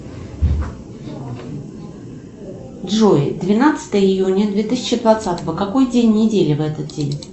джой двенадцатое июня две тысячи двадцатого какой день недели в этот день